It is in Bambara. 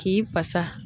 K'i basa